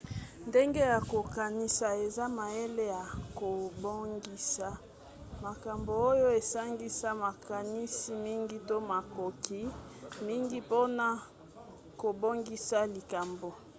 ndenge ya kokanisa eza mayele ya kobongisa makambo oyo esangisaka makanisi mingi to makoki mingi mpona kobongisa likambo